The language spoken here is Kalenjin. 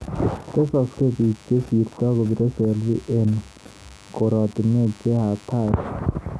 Tesasksei biik chesirtoi kobire selfi eng koratinwek che hatari